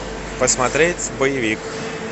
посмотреть боевик